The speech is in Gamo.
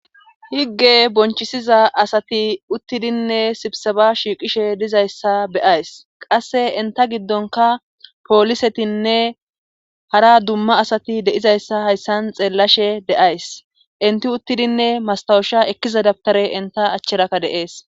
Higge bonchisiza asati uttidinne sibsaba shiiqishe dizayssa beyays qasse inta giddonka poolisetinne hara dumma asati de'izayssa hayssan xeellashe deays inti uttidinne mastawusha ekkiza dabtare inta achcherakka deees.